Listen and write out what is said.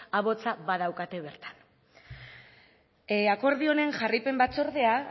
ahotsa badaukate bertan akordio honen jarraipen batzordea